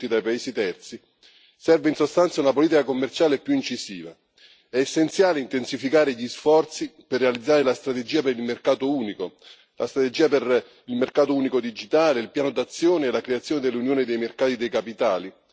Serve, in sostanza, una politica commerciale più incisiva. È essenziale intensificare gli sforzi per realizzare la strategia per il mercato unico, la strategia per il mercato unico digitale, il piano d'azione e la creazione dell'Unione dei mercati dei capitali e l'unione dell'energia.